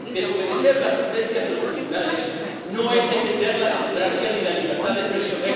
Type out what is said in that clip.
Desobedecer las sentencias de los tribunales no es defender la democracia ni la libertad de expresión